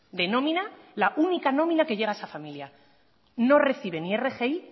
de nómina la única nómina que llega a esa familia no recibe ni rgi